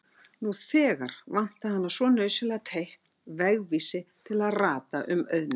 Nú þegar hana vantaði svo nauðsynlega teikn, vegvísi til að rata um auðnina.